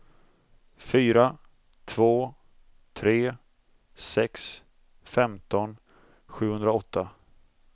fyra två tre sex femton sjuhundraåtta